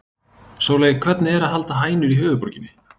Sóley, hvernig er að halda hænur í höfuðborginni?